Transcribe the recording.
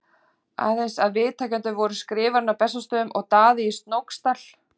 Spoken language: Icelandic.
Aðeins að viðtakendur voru Skrifarinn á Bessastöðum og Daði í Snóksdal.